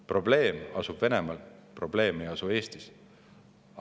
Probleem asub Venemaal, probleem ei asu Eestis.